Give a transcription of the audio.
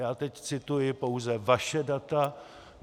Já teď cituji pouze vaše data.